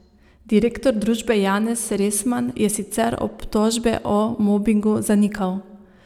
Direktor družbe Janez Resman je sicer obtožbe o mobingu zanikal.